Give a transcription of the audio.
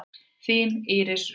Þín Íris Rut.